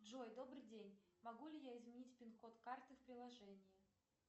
джой добрый день могу ли я изменить пин код карты в приложении